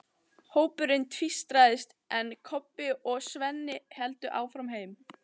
Hópurinn tvístraðist, en Kobbi og Svenni héldu áfram heim.